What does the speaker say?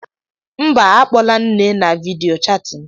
Mba akpola nne na vidiyo chatin